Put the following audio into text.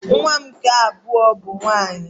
Nwa m nke abụọ bụ nwaanyị